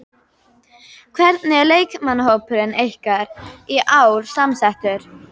Hvernig er leikmannahópurinn ykkar í ár samsettur?